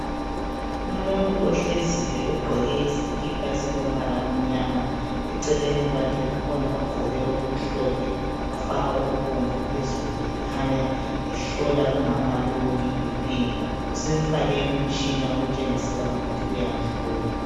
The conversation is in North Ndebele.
Umuntu ohleziyo ogqoke isikipa esilombala omnyama. Eceleni kwakhe kukhona ogqoke okumhlophe wafaka okubomvu phezulu ekhanya ehlola umama lowu ibhi phi. Usemfake umtshina okutshengisela ukuthi uyamhlola.